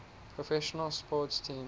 professional sports teams